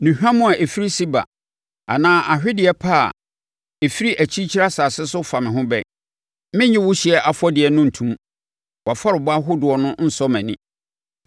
Nnuhwam a ɛfiri Seba anaa ahwedeɛ pa a ɛfiri akyirikyiri asase so fa me ho bɛn? Mennye wo hyeɛ afɔdeɛ no nto mu; wʼafɔrebɔ ahodoɔ no nsɔ mʼani.”